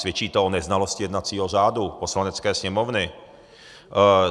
Svědčí to o neznalosti jednacího řádu Poslanecké sněmovny.